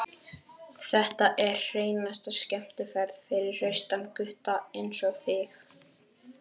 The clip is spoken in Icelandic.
Þetta er hreinasta skemmtiferð fyrir hraustan gutta einsog þig.